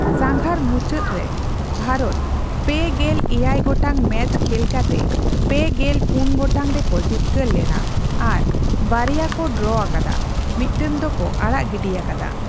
ᱥᱟᱸᱜᱷᱟᱨ ᱢᱩᱪᱟᱹᱫ ᱨᱮ ᱵᱷᱟᱨᱚᱛ ᱯᱮ ᱜᱮᱞ ᱮᱭᱟᱭ ᱜᱚᱴᱟᱝ ᱢᱮᱪ ᱠᱷᱮᱞ ᱠᱟᱛᱮ ᱯᱮ ᱜᱮᱞ ᱯᱩᱱ ᱜᱚᱴᱟᱝ ᱨᱮᱠᱚ ᱡᱤᱛᱠᱟᱹᱨ ᱞᱮᱱᱟ ᱟᱨ, ᱵᱟᱨᱭᱟ ᱭᱟ ᱠᱚ ᱰᱨᱚ ᱟᱠᱟᱫᱟ, ᱢᱤᱫᱴᱟᱝ ᱫᱚᱠᱚ ᱟᱲᱟᱜ ᱜᱤᱰᱤ ᱠᱟᱫᱟ ᱾